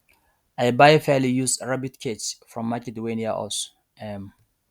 i buy fairly used rabbit cage from market wey near us um